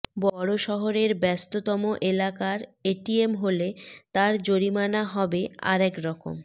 বড় শহরের ব্যস্ততম এলাকার এটিএম হলে তার জরিমানা হবে আর একরকম